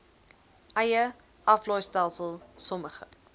eie aflaaistelsel sommige